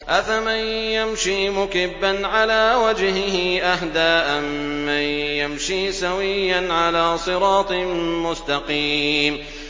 أَفَمَن يَمْشِي مُكِبًّا عَلَىٰ وَجْهِهِ أَهْدَىٰ أَمَّن يَمْشِي سَوِيًّا عَلَىٰ صِرَاطٍ مُّسْتَقِيمٍ